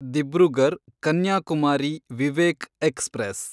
Dibrugarh Kanyakumari Vivek express